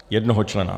Jednoho člena.